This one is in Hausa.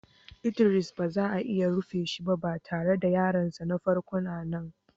Idris ba za a rufe shiba, ba tare da yaron sa na farko na nan.